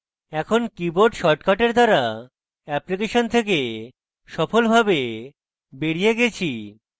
আমি keyboard shortcut দ্বারা application থেকে সফলভাবে বেরিয়ে গেছি